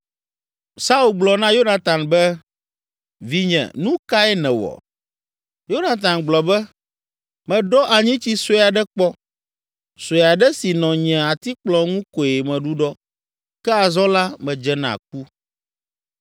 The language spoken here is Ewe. Saul gblɔ na Yonatan be, “Vinye, nu kae nèwɔ?” Yonatan gblɔ be, “Meɖɔ anyitsi sue aɖe kpɔ, sue aɖe si nɔ nye atikplɔ ŋu koe meɖuɖɔ, ke azɔ la medze na ku.”